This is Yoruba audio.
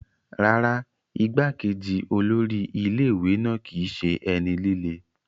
Rárá, igbá-kejì olórí ilé ìwé náà kìí ṣe ẹni líle.